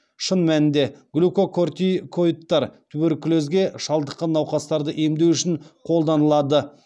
шын мәнінде глюкокортикоидтар туберкулезге шалдыққан науқастарды емдеу үшін қолданылады